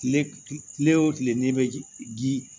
Kile kile o kile n'i bɛ ji